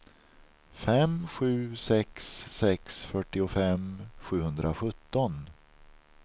fem sju sex sex fyrtiofem sjuhundrasjutton